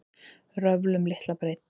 Röfl um litla breidd